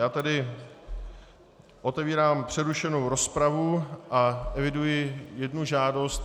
Já tedy otevírám přerušenou rozpravu a eviduji jednu žádost.